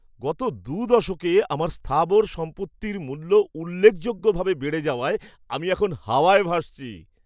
গত দুই দশকে আমার স্থাবর সম্পত্তির মূল্য উল্লেখযোগ্যভাবে বেড়ে যাওয়ায় আমি এখন হাওয়ায় ভাসছি।